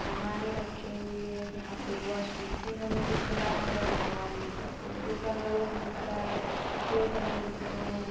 सामाने रखे हुई है। यहाँं पे वॉश बेसिन हमें दिख रहा है भगवान जी का फोटो टंगा हुए दिख रहा है कुछ कपड़े टंगे दिख रहें हैं।